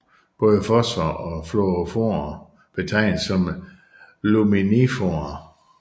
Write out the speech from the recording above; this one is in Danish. Både fosforer og fluoroforer betegnes som luminiforer